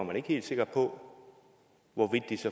man ikke helt sikker på